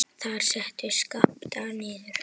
Þar settu þeir Skapta niður.